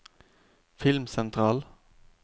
filmsentral